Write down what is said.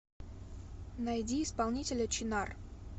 найди исполнителя чинар